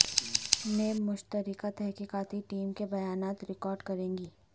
NAB مشترکہ تحقیقاتی team کے بیانات ریکارڈ کرے گی